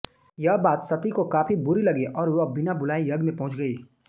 यह बात सती को काफी बुरी लगी और वह बिना बुलाए यज्ञ में पहुंच गयी